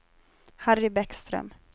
Harry Bäckström